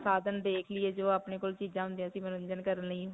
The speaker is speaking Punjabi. ਸਾਧਨ ਦੇਖ ਲਇਏ ਜੋ ਅਪਨੇ ਕੋਲ ਚੀਜਾਂ ਹੁੰਦੀਆਂ ਸੀ ਮਨੋਰੰਜਨ ਕਰਨ ਲਈ.